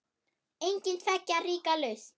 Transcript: Engin tveggja ríkja lausn?